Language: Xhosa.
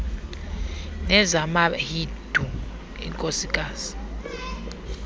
nezama hindu inkosikazi